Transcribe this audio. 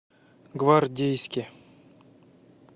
гвардейске